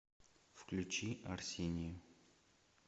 включи арсению